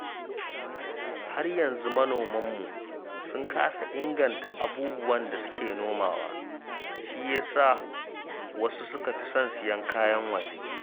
Har yanzu manomanmu sun kasa inganta abubuwan da suke nomawa, shi ya sa wasu suka fi son siyan kayan waje